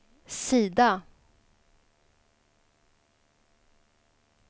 sida